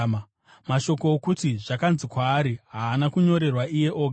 Mashoko okuti, “zvakanzi kwaari,” haana kunyorerwa iye oga,